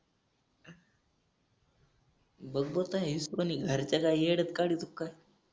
बघ बघता येस कोणी घरच्याचा येड्यात काढतो काय